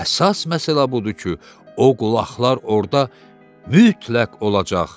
Əsas məsələ budur ki, o qulaqlar orda mütləq olacaq.